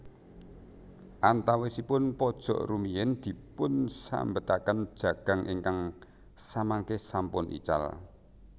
Antawisipun pojok rumiyin dipun sambetaken jagang ingkang samangke sampun ical